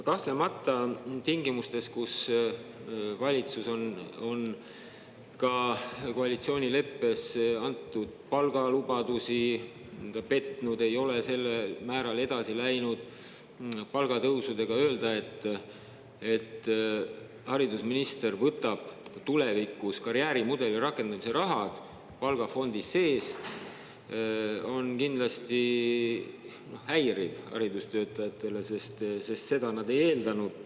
Kahtlemata, tingimustes, kus valitsus on ka koalitsioonileppes antud palgalubadusi, ta ei ole määral palgatõusudega edasi läinud, öelda, et haridusminister võtab tulevikus karjäärimudeli rakendamise raha palgafondi seest, on kindlasti häiriv haridustöötajatele, sest seda nad ei eeldanud.